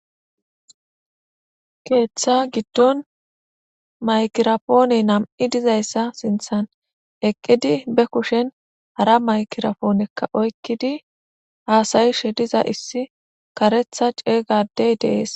keeththa giddon maykirapooney nam7i dizayssa sinthan eqqidi be kushen hara maykirapoonekka oykkidi haasayishe diza issi karetha ceeygadey dees